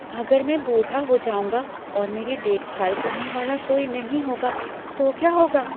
अगर मैं बूढ़ा हो जाऊँगा और मेरी देखभाल करने वाला कोई नहीं होगा तो क्या होगा?